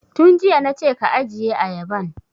Tun jiya na ce ka ajiye ayaban!